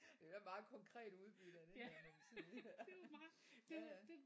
Det er et meget konkret udbytte af den der må man sige ja ja